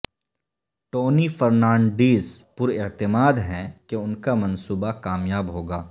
Tony Fernandes پر اعتماد ہیں کہ ان کامنصوبہ کامیاب ہوگا